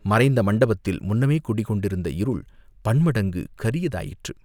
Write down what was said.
மறைந்த மண்டபத்தில் முன்னமே குடி கொண்டிருந்த இருள் பன்மடங்கு கரியதாயிற்று.